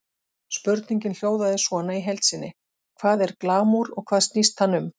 Spurningin hljóðaði svona í heild sinni: Hvað er glamúr og hvað snýst hann um?